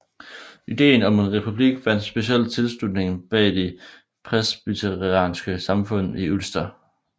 Ideen om en republik vandt specielt tilslutning blandt de presbyterianske samfund i Ulster